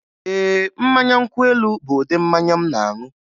Ee, mmanya nkwụ elu bụ ụdị mmanya m na-aṅụ.